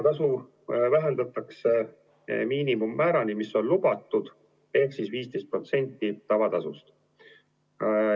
Tasu vähendatakse miinimummäärani, mis on lubatud, ehk siis 15% tavatasust.